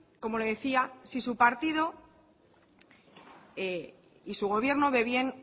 como le decía si su partido y su gobierno ve bien